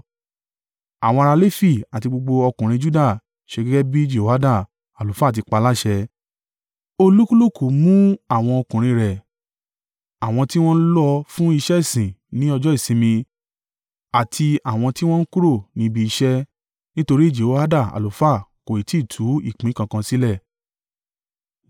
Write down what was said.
Àwọn ará Lefi àti gbogbo ọkùnrin Juda ṣe gẹ́gẹ́ bí Jehoiada àlùfáà ti paláṣẹ. Olúkúlùkù mú àwọn ọkùnrin rẹ̀, àwọn tí wọ́n lọ fún iṣẹ́ ìsìn ní ọjọ́ ìsinmi àti àwọn tí wọ́n ń kúrò ní ibi iṣẹ́. Nítorí Jehoiada àlùfáà kò ì tí tú ìpín kankan sílẹ̀.